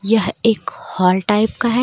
यह एक hall type का है.